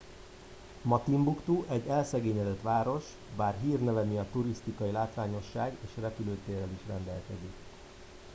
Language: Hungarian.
ma timbuktu egy elszegényedett város bár hírneve miatt turisztikai látványosság és repülőtérrel is rendelkezik